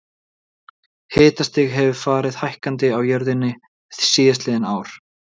Hitastig hefur farið hækkandi á jörðinni síðastliðin ár.